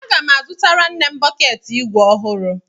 Aga m azụtara nne m bọkeetị igwe ọhụrụ.